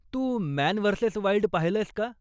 तू Man versus Wild पाहिलंयस का?